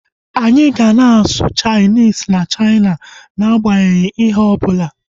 Anyị ga na-asụ Chainis na Chaina na agbanyeghi ihe ọbụla